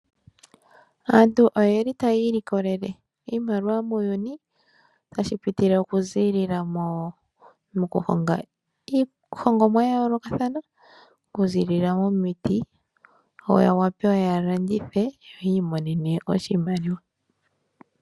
Aantu oye li taya ilikolele iimaliwa muuyuni tashi pitilile okuziilila mokuhonga iihongomwa yayoolokathana, okuziilila wo miiti yawape yalandithe, yiimonenemo iimaliwa.